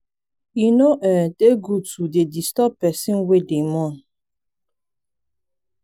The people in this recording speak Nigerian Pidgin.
e no um dey good to dey disturb pesin wey dey mourn.